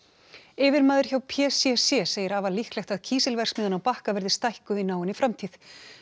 yfirmaður hjá p c c segir afar líklegt að kísilverksmiðjan á Bakka verði stækkuð í náinni framtíð